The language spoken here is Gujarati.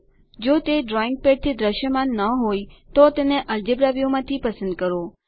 જો તે ડ્રોઈંગ પેડ થી દૃશ્યમાન ન હોય તો તેને અલ્જેબ્રા વ્યુ માંથી પસંદ કરો